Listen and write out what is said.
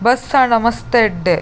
Bus ಆಂಡ ಮಸ್ತ್ ಎಡ್ದೆ.